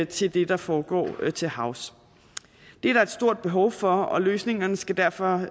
til det der foregår til havs det er der et stort behov for og løsningerne skal derfor